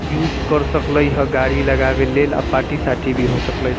यूज कर सकले हई गाड़ी लगावे लेल आ पार्टी सार्टी भी हो सकले।